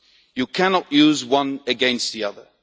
You cannot use one against the other.